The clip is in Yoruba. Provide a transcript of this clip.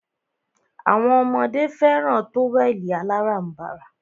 Awọn ọmọdé fẹràn tówẹ̀lì aláránbara.